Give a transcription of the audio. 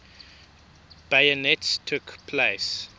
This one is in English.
bayonets took place